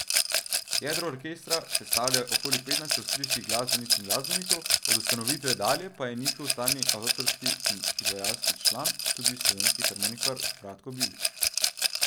Jedro orkestra sestavlja okoli petnajst avstrijskih glasbenic in glasbenikov, od ustanovitve dalje pa je njegov stalni avtorski in izvajalski član tudi slovenski harmonikar Bratko Bibič.